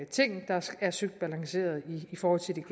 ting der er søgt balanceret i forhold til de